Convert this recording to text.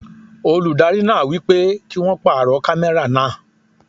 Olùdarí náà wípé kí won pàrọ̀ kámẹ́rà náà.